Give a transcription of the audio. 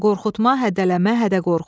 qorxutma, hədələmə, hədə-qorxu.